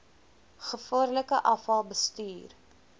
gevaarlike afval bestuur